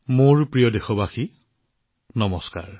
মোৰ মৰমৰ দেশবাসীসকল নমস্কাৰ